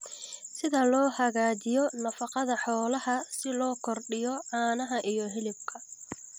Sida loo hagaajiyo nafaqada xoolaha si loo kordhiyo caanaha iyo hilibka.